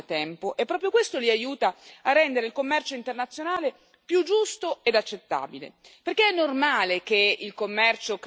I nostri partner commerciali più avanzati lo fanno da tempo, e proprio questo li aiuta a rendere il commercio internazionale più giusto ed accettabile.